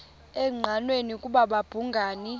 engqanweni ukuba babhungani